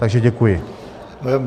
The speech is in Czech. Takže děkuji.